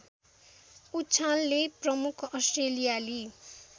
उछालले प्रमुख अस्ट्रेलियाली